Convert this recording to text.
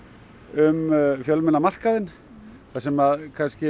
um fjölmiðlamarkaðinn það sem